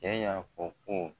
E yan fɔ ko